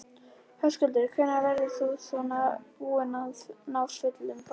Höskuldur: Hvenær verður þú svona búinn að ná fullum bata?